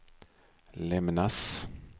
lämnas